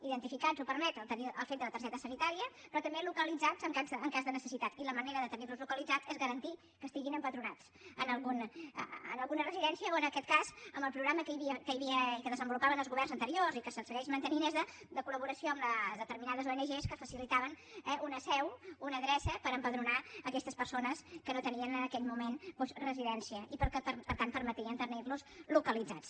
identificats ho permet el fet de la targeta sanitària però també localitzats en cas de necessitat i la manera de tenir los localitzats és garantir que estiguin empadronats en alguna residència o en aquest cas en el programa que hi havia i que desenvolupaven els governs anteriors i que es segueix mantenint de col·litaven una seu una adreça per empadronar aquestes persones que no tenien en aquell moment residència i per tant permetien tenir los localitzats